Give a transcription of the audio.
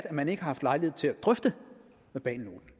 at man ikke har haft lejlighed til at drøfte verbalnoten